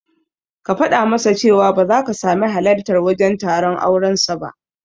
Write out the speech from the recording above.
Ka fada masa cewa ba zaka sami halartar wajen taron auren sa ba